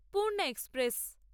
Purna express